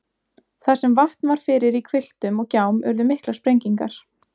Þar sem vatn var fyrir í hvilftum og gjám urðu miklar sprengingar.